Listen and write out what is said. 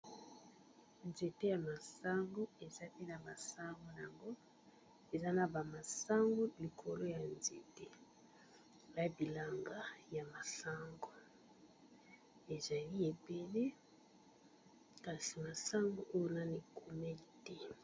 Nzete ya masango, ezali na masango n' ango, eza na ba masango likolo ya nzete na bilanga ya masango. Ezali ébélé kasi masango oyo nanu e wumeli te .